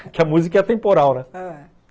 Porque a música é atemporal, né? ãh